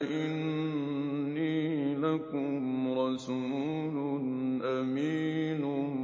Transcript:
إِنِّي لَكُمْ رَسُولٌ أَمِينٌ